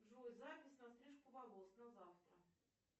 джой запись на стрижку волос на завтра